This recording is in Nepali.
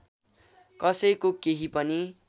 कसैको केही पनि